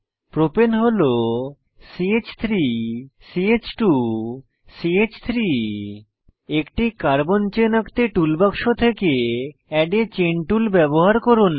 প্রপাণে হল ch3 ch2 চ3 একটি কার্বন চেন আঁকতে টুল বাক্স থেকে এড a চেইন টুল ব্যবহার করুন